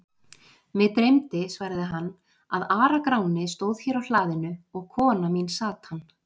Mig dreymdi, svaraði hann,-að Ara-Gráni stóð hér á hlaðinu og kona mín sat hann.